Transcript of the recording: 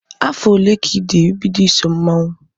Afọ ole ka ịdị bido iso mmanwụ?